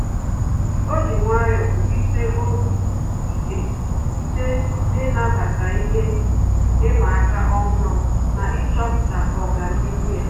Ọ́ jì nwayọ́ọ̀ wùlíté obi ike site n’ị́nàbàtá ihe ịma aka ọ́hụ́rụ́ na ịchọ̀pụ́tá ọ́gànihu ya.